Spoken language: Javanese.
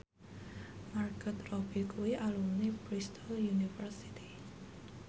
Margot Robbie kuwi alumni Bristol university